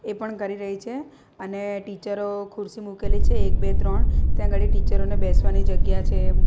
એ પણ કરી રહી છે અને ટીચરો ખુરસી મૂકેલી છે એક બે ત્રણ ત્યાં ગાડી ટીચરો ને બેસવાની જગ્યા છે.